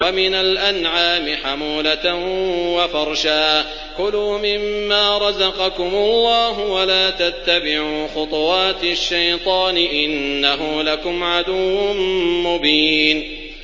وَمِنَ الْأَنْعَامِ حَمُولَةً وَفَرْشًا ۚ كُلُوا مِمَّا رَزَقَكُمُ اللَّهُ وَلَا تَتَّبِعُوا خُطُوَاتِ الشَّيْطَانِ ۚ إِنَّهُ لَكُمْ عَدُوٌّ مُّبِينٌ